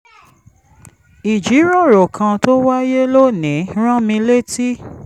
ìjíròrò kan tó wáyé lónìí rán mi létí